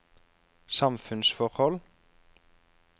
samfunnsforhold